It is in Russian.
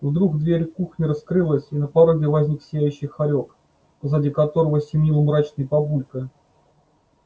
вдруг дверь кухни раскрылась и на пороге возник сияющий хорёк позади которого семенил мрачный папулька